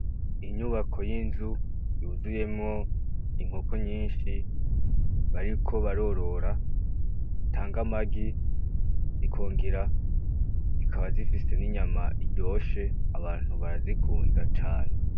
Inyubako y'inzu yuzuyemwo inkoko nyinshi , bariko barorora zitanga amagi zikongera zikaba zifise n'inyama ziryoshe abantu barazikunda cane .